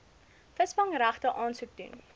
visvangsregte aansoek doen